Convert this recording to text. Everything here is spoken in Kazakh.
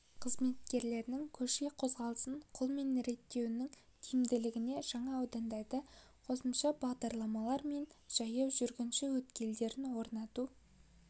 қызметкерлерінің көше қозғалысын қолмен реттеуінің тиімділігіне жаңа аудандарда қосымша бағдаршамдар мен жаяу жүргінші өткелдерін орнату